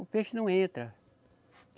O peixe não entra.